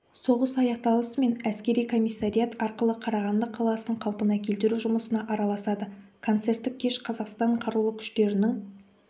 соғыс аяқталысымен әскери комиссариат арқылы қарағанды қаласын қалпына келтіру жұмысына араласады концерттік кеш қазақстан қарулы күштерінің